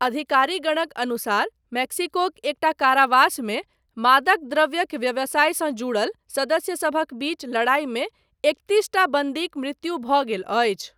अधिकारीगणक अनुसार मेक्सिकोक एकटा कारावासमे मादक द्रव्यक व्यवसायसँ जुड़ल सदस्यसभक बीच लड़ाइमे एकतीसटा बन्दीक मृत्यु भऽ गेल अछि।